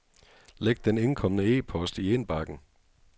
Læg den indkomne e-post i indbakken.